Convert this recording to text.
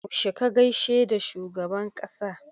Yaushe ka gaishe da shugaban ƙasa?